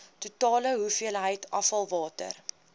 totale hoeveelheid afvalwater